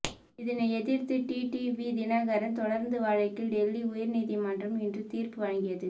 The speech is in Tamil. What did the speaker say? இதனை எதிர்த்து டிடிவி தினகரன் தொடர்ந்த வழக்கில் டெல்லி உயர்நீதிமன்றம் இன்று தீர்ப்பு வழங்கியது